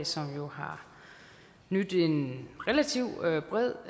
som jo har nydt en relativt bred